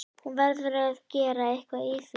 Hún verður að gera eitthvað í því.